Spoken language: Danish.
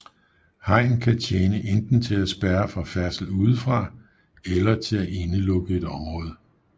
Hegn kan tjene enten til at spærre for færdsel udefra eller til at indelukke et område